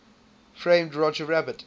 framed roger rabbit